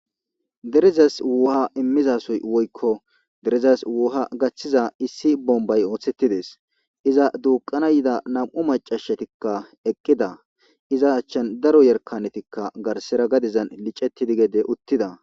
Derezass wuha imizassoy woyikko derezass wuha gaththizassoy issi bombay oththetides iza duqana yidda nam'u macashatikka eqida iza achan daro yarkanet garsera gadezan gede licetid uttidda